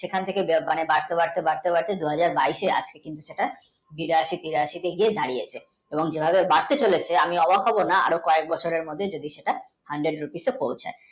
বাড়তে বাড়তে বাড়তে আশিটা বিরাশী তিরাশিতে গিয়ে দাড়িয়েছে আমি অবাক হব না dollar আরও কয়েক বছরের মধ্যে hundred, rupees এ পৌছাবে